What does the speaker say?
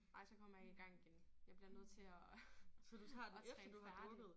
Nej så kommer jeg ikke i gang igen. Jeg bliver nødt til at at træne færdig